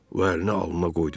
O əlini alnına qoydu.